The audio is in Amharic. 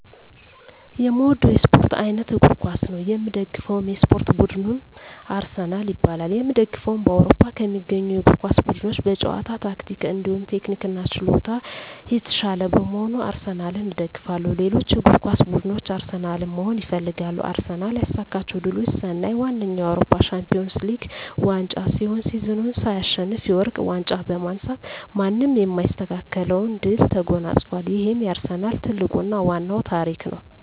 የእምወደዉ የእስፖርት አይነት እግር ኳስ ነዉ። የምደግፈዉ የእስፖርት ቡድንም አርሰናል ይባላል። የእምደግፈዉም በአዉሮፖ ከሚገኙ የእግር ኳስ ቡድኖች በጨዋታ ታክቲክ እንዲሁም ቴክኒክና ችሎታ የታሻለ በመሆኑ አርሰናልን እደግፋለሁ። ሌሎች እግር ኳስ ብድኖች አርሰናልን መሆን ይፈልጋሉ። አርሰናል ያሳካቸዉ ድሎች ስናይ ዋነኛዉ የአዉሮፖ ሻንፒወንስ ሊግ ዋንጫ ሲሆን ሲዝኑን ሳይሸነፍ የወርቅ ዋንጫ በማንሳት ማንም የማይስተካከለዉን ድል ተጎናፅፋል ይሄም የአርሰናል ትልቁና ዋናዉ ታሪክ ነዉ።